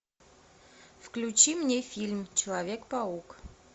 включи мне фильм человек паук